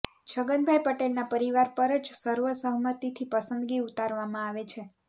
છગનભાઇ પટેલના પરિવાર પર જ સર્વસહમતિથી પસંદગી ઉતારવામાં આવે છે